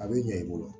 A bɛ ɲɛ i bolo